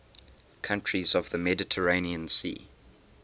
countries of the mediterranean sea